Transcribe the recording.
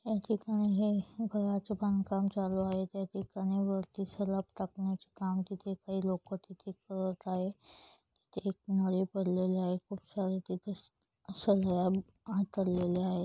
या ठिकाणी हे घराचे बांधकाम चालू आहे त्या ठिकाणी वरती सलाप टाकण्याचे काम चालू आहे काही लोक तिथे येत आहे एक नाली पडलेलेल आहेत खूप सारे तिथे सगळ्या आहेत.